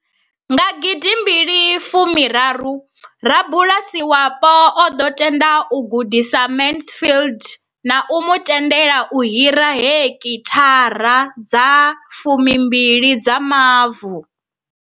Nga gidi mbili fu raru, rabulasi wapo o ḓo tenda u gudisa Mansfield na u mu tendela u hira hekithara dza fumi mbili dza mavu.